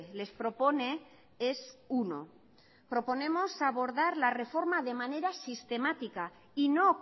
les propone es uno proponemos abordar la reforma de manera sistemática y no